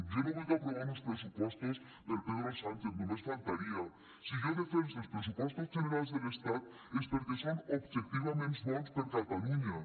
jo no vull aprovar uns pressupostos per pedro sánchez només faltaria si jo defense els pressupostos generals de l’estat és perquè són objectivament bons per a catalunya